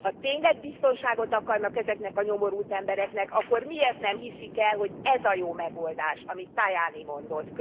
Ha tényleg biztonságot akarnak ezeknek a nyomorult embereknek, akkor miért nem hiszik el, hogy ez a jó megoldás, amit Tajani mondott?